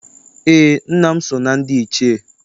Eé, nna m so na ndị Ichie.